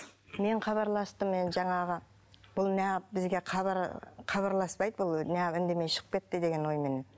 мен хабарластым енді жаңағы бұл неғып бізге хабар хабарласпайды бұл неғып үндемей шығып кетті деген ойменен